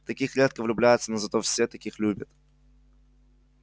в таких редко влюбляются но зато все таких любят